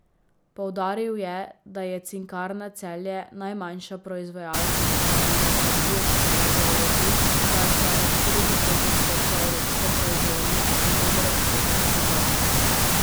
Poudaril je, da je Cinkarna Celje najmanjša proizvajalka titanovega dioksida v Evropi, saj ustvari štiri do pet odstotkov evropske proizvodnje in dober odstotek svetovne.